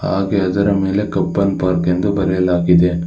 ಹಾಗೆ ಅದರ ಮೇಲೆ ಕಬ್ಬನ ಪಾರ್ಕ್ ಎಂದು ಬರೆಯಲಾಗಿದೆ.